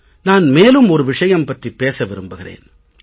நான் மேலும் ஒரு விஷயம் பற்றிப் பேச விரும்புகிறேன்